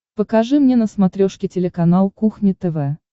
покажи мне на смотрешке телеканал кухня тв